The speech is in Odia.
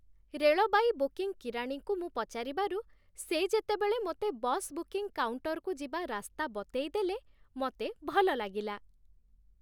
ରେଳବାଇ ବୁକିଂ କିରାଣୀଙ୍କୁ ମୁଁ ପଚାରିବାରୁ, ସେ ଯେତେବେଳେ ମୋତେ ବସ୍ ବୁକିଂ କାଉଣ୍ଟରକୁ ଯିବା ରାସ୍ତା ବତେଇଦେଲେ, ମୋତେ ଭଲ ଲାଗିଲା।